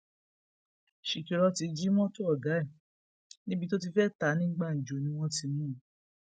ṣìkìrọtì jí mọtò ọgá ẹ níbi tó ti fẹẹ tá a ní gbàǹjo ni wọn ti mú un